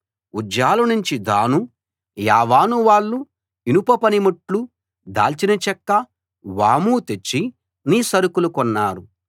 ఉజ్జాలు నుంచి దాను యావాను వాళ్ళు ఇనప పనిముట్లు దాల్చిన చెక్క వాము తెచ్చి నీ సరుకులు కొన్నారు